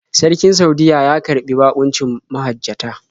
Sarkin Saudiyya ya karɓi baƙuncin mahajjata.